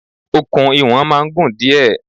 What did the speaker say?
Okùn iwọ̀n máa ń gùn díẹ̀.